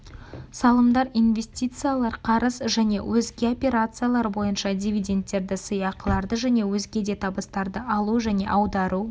салымдар инвестициялар қарыз және өзге операциялар бойынша дивиденттерді сыйақыларды және өзге де табыстарды алу және аудару